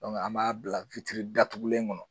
Dɔnku an b'a bila witiri datugulen kɔnɔ